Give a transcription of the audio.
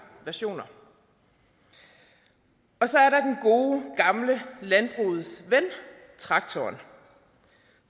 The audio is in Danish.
versioner og så er der den gode gamle landbrugets ven traktoren